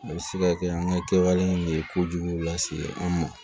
A bɛ se ka kɛ an ka kɛwale de ye kojugu lase an ma